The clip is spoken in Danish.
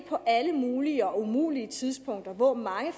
på alle mulige og umulige tidspunkter hvor mange